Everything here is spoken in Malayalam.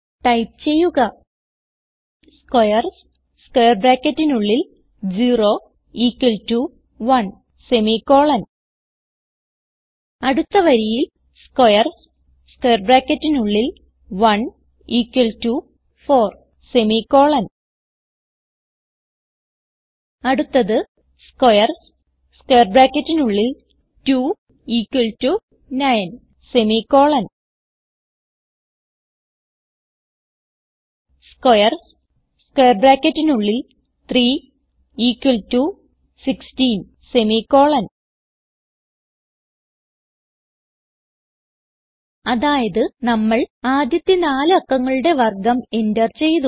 ടൈപ്പ് ചെയ്യുക squares0 1 അടുത്ത വരിയിൽ squares1 4 അടുത്തത് squares2 9 squares3 16 അതായത് നമ്മൾ ആദ്യത്തെ നാല് അക്കങ്ങളുടെ വർഗം എന്റർ ചെയ്തു